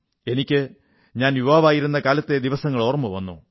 എനിക്ക് ഞാൻ യുവാവായിരുന്ന കാലത്തെ ദിവസങ്ങൾ ഓർമ്മ വന്നു